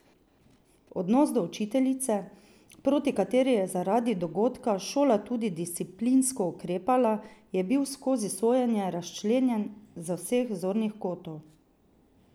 Odnos do učiteljice, proti kateri je zaradi dogodka šola tudi disciplinsko ukrepala, je bil skozi sojenje razčlenjen z vseh zornih kotov.